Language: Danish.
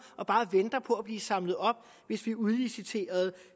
og bare venter på at blive samlet op hvis vi udliciterede